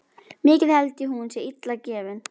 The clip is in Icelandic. Mikið held ég hún sé illa gefin.